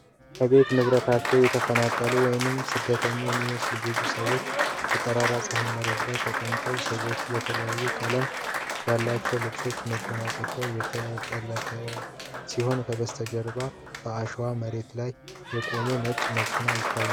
ከቤት ንብረታቸው የተፈናቀሉ ወይም ስደተኞች የሚመስሉ ብዙ ሰዎች በጠራራ ፀሐይ መሬት ላይ ተቀምጠው ። ሰዎች በተለያዩ ቀለም ያላቸው ልብሶችና መጎናጸፊያዎች የተጠቀለሉ ሲሆኑ፣ ከበስተጀርባ በአሸዋማ መሬት ላይ የቆመ ነጭ መኪና ይታያል።